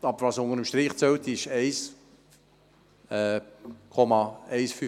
Aber was unter dem Strich zählt, sind diese 1,15 Mio. Franken.